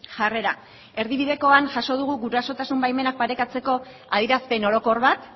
jarrera erdibidekoan jaso dugu gurasotasun baimenak parekatzeko adierazpen orokor bat